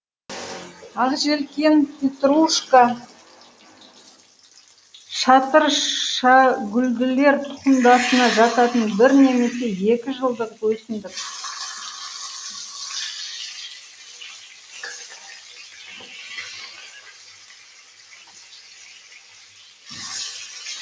ақжелкен петрушка шатыршагүлділер тұқымдасына жататын бір немесе екі жылдық өсімдік